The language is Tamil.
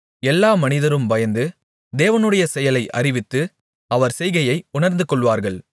எல்லா மனிதரும் பயந்து தேவனுடைய செயலை அறிவித்து அவர் செய்கையை உணர்ந்துகொள்வார்கள்